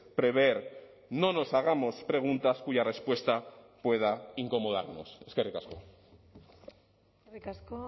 prever no nos hagamos preguntas cuya respuesta pueda incomodarnos eskerrik asko eskerrik asko